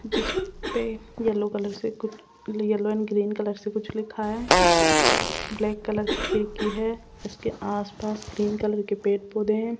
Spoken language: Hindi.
जिसपे येल्लो कलर से कुछ येल्लो एंड ग्रीन कलर से कुछ लिखा है ब्लैक कलर की खिड़की है उसके आसपास ग्रीन कलर के पेड़ पौधे हैं।